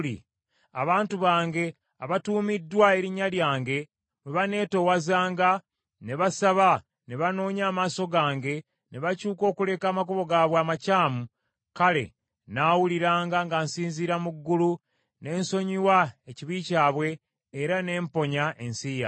abantu bange abatuumiddwa erinnya lyange bwe baneetowazanga, ne basaba, ne banoonya amaaso gange, ne bakyuka okuleka amakubo gaabwe amakyamu, kale nnaawuliranga nga nsinziira mu ggulu ne nsonyiwa ekibi kyabwe era ne mponya ensi yaabwe.